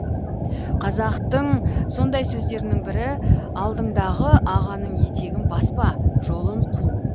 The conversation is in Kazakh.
қазақтың сондай сөздерінің бірі алдыңдағы ағаның етегін баспа жолын қу